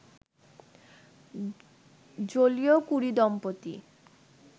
Joliot Curie দম্পতি